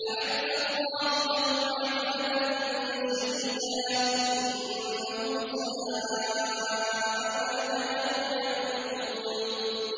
أَعَدَّ اللَّهُ لَهُمْ عَذَابًا شَدِيدًا ۖ إِنَّهُمْ سَاءَ مَا كَانُوا يَعْمَلُونَ